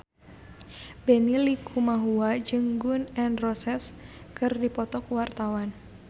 Benny Likumahua jeung Gun N Roses keur dipoto ku wartawan